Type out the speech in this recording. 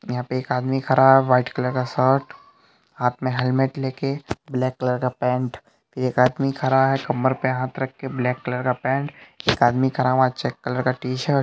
यंहा पे एक आदमी खड़ा है वाइट कलर का शर्ट हाँथ में हेलमेट लेके ब्लैक कलर का पेंट आदमी खड़ा है कमर पे हाँथ रख के ब्लैक कलर का पेंट एक आदमी खड़ा चेक कलर का टी-शर्ट --